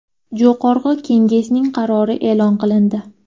Jo‘qorg‘i Kengesning qarori e’lon qilindi.